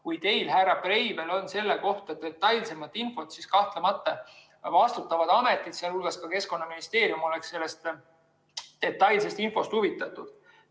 Kui teil, härra Breivel, on selle kohta detailsemat infot, siis kahtlemata vastutavad ametid, sh Keskkonnaministeerium, oleksid sellest detailsest infost huvitatud.